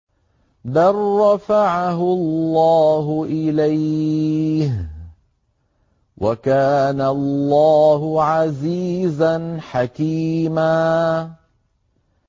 بَل رَّفَعَهُ اللَّهُ إِلَيْهِ ۚ وَكَانَ اللَّهُ عَزِيزًا حَكِيمًا